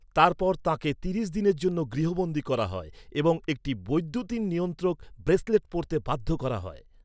তারপর তাঁকে তিরিশ দিনের জন্য গৃহবন্দী করা হয় এবং একটি বৈদ্যুতিন নিয়ন্ত্রক ব্রেসলেট পরতে বাধ্য করা হয়।